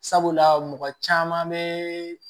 Sabula mɔgɔ caman bɛ